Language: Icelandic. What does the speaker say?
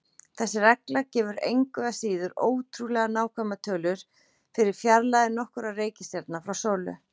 Þessi regla gefur engu að síður ótrúlega nákvæmar tölur fyrir fjarlægðir nokkurra reikistjarna frá sólu.